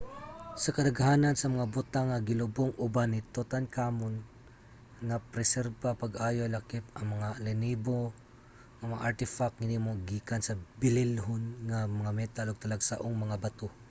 ang kadaghanan sa mga butang nga gilubong uban ni tutankhamun napreserbar pag-ayo lakip na ang mga linibo nga mga artefact hinimo gikan sa bililhon nga mga metal ug talagsaong mga bato